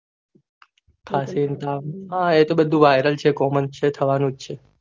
હા કશી ને તાવ હા એ તો બધું viral છે common છે એ થવાનુજ છે